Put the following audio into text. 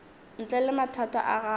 ntle le mathata a gago